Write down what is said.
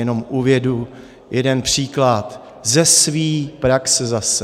Jenom uvedu jeden příklad ze své praxe zase.